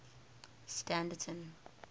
standerton